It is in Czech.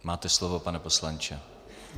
Máte slovo, pane poslanče.